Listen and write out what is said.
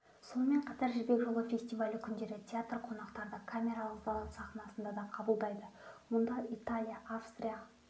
сонымен қатар жібек жолы фестивалі күндері театр қонақтарды камералық зал сахнасында да қабылдайды мұнда италия австрия